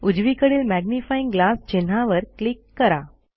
उजवीकडील magnifying glass चिन्हावर click करा